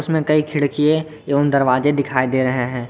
कई खिड़कीये एवं दरवाजे दिखाई दे रहे हैं।